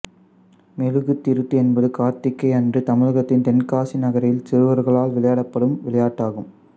மெழுகுத்திருட்டு என்பது கார்த்திகை அன்று தமிழகத்தின் தென்காசி நகரில் சிறுவர்களால் விளையாடப்படும் விளையாட்டாகும்